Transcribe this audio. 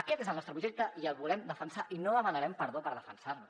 aquest és el nostre projecte i el volem defensar i no demanarem perdó per defensar lo